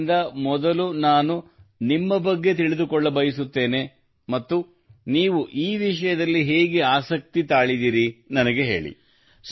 ಆದ್ದರಿಂದ ಮೊದಲು ನಾನು ನಿಮ್ಮ ಬಗ್ಗೆ ತಿಳಿದುಕೊಳ್ಳ ಬಯಸುತ್ತೇನೆ ಹಾಗೂ ನೀವು ಈ ವಿಷಯದಲ್ಲಿ ಹೇಗೆ ಆಸಕ್ತಿ ತಾಳಿದ್ದೀರಿ ನನಗೆ ಹೇಳಿ